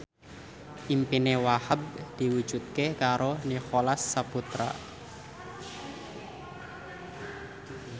impine Wahhab diwujudke karo Nicholas Saputra